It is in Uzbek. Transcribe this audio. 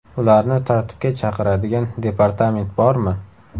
Ularni tartibga chaqiradigan departament bormi?